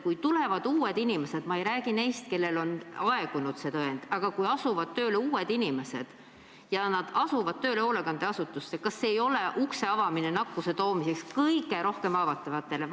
Kui tulevad uued inimesed – ma ei räägi neist, kelle tõend on aegunud – ja asuvad tööle hoolekandeasutusse, siis kas see ei ole ukse avamine nakkuse toomiseks kõige rohkem haavatavate sekka?